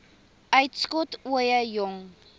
uitskot ooie jong